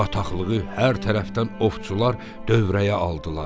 Bataqlığı hər tərəfdən ovçular dövrəyə aldılar.